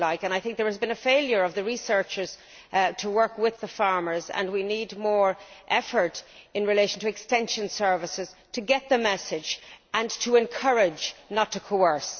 I think there has been a failure of the researchers to work with the farmers, and we need more effort in relation to extension services to get the message across, to encourage and not to coerce.